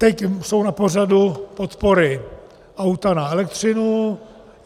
Teď jsou na pořadu podpory auta na elektřinu.